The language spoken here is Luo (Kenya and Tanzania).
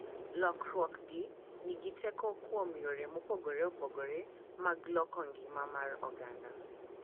Lokiruokgi nigi teko kuom yore mopogore opogore mag loko ngima mar oganda,